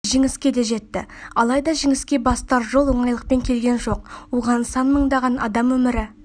жеңіске де жетті алайда жеңіске бастар жол оңайлықпен келген жоқ оған сан мыңдаған адам өмірі